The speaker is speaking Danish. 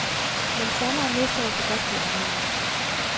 Men sommeren næste år kan godt blive anderledes.